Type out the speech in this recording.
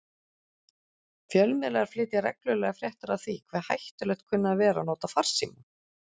Fjölmiðlar flytja reglulega fréttir af því hve hættulegt kunni að vera að nota farsíma.